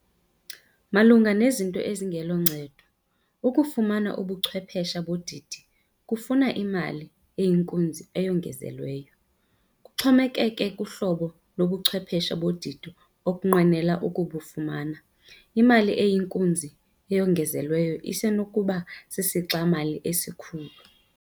Malunga nezinto ezingeloncedo, ukufumana ubuchwepheshe bodidi kufuna imali eyinkunzi eyongezelelweyo. Kuxhomekeke kuhlobo lobuchwepheshe bodidi onqwenela ukubufumana imali eyinkunzi eyongezelelwayo isenokuba sisixa-mali esikhulu.